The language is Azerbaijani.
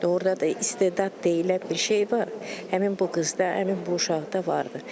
Doğurdan da istedad deyilən bir şey var, həmin bu qızda, həmin bu uşaqda vardır.